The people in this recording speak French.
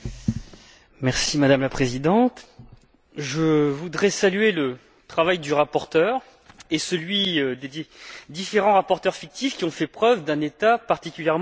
Madame la Présidente, je voudrais saluer le travail du rapporteur et celui des différents rapporteurs fictifs, qui ont fait preuve d'un état d'esprit particulièrement constructif.